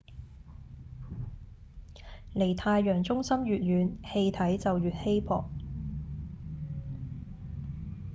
離太陽中心越遠氣體就越稀薄